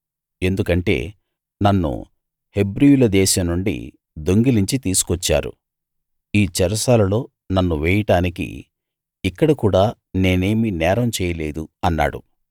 ఎందుకంటే నన్ను హెబ్రీయుల దేశం నుండి దొంగిలించి తీసుకొచ్చారు ఈ చెరసాలలో నన్ను వేయడానికి ఇక్కడ కూడా నేనేమీ నేరం చేయలేదు అన్నాడు